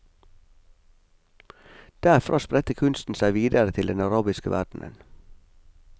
Derfra spredte kunsten seg videre til den arabiske verdenen.